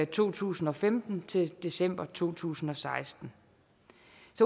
to tusind og femten til december to tusind og seksten